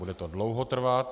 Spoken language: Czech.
Bude to dlouho trvat.